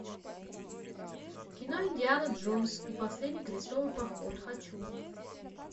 кино индиана джонс и последний крестовый поход хочу